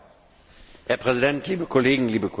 Herr Präsident, liebe Kolleginnen, liebe Kollegen!